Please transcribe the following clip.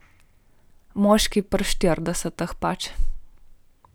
Moški pri štiridesetih pač.